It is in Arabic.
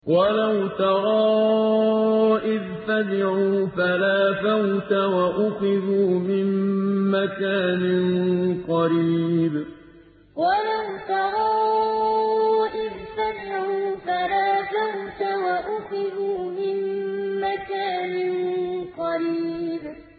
وَلَوْ تَرَىٰ إِذْ فَزِعُوا فَلَا فَوْتَ وَأُخِذُوا مِن مَّكَانٍ قَرِيبٍ وَلَوْ تَرَىٰ إِذْ فَزِعُوا فَلَا فَوْتَ وَأُخِذُوا مِن مَّكَانٍ قَرِيبٍ